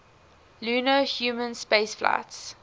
lunar human spaceflights